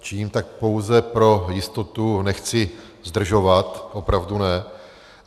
Činím tak pouze pro jistotu, nechci zdržovat, opravdu ne.